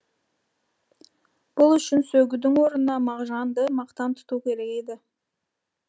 бұл үшін сөгудің орнына мағжанды мақтан тұту керек еді